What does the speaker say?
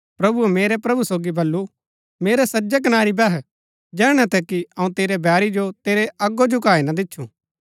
प्रभुऐ मेरै प्रभु सोगी बल्लू मेरै सज्जै कनारी बैह जैहणै तक कि अऊँ तेरै बैरी जो तेरै अगो झुकाई ना दिच्छु